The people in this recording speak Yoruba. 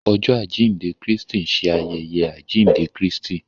Ọjọ ajinde Kristi nṣe ayẹyẹ ajinde Kristi.